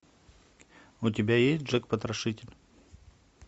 у тебя есть джек потрошитель